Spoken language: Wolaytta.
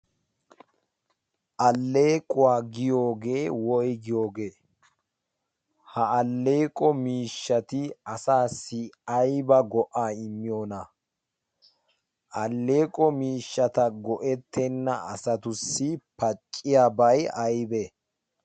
alleequwaa giyoogee woy giyoogee ha alleeqo miishshati asaassi ayba go'aa immiyoona? alleeqo miishshata go'ettenna asatussi pacciya bay aybe?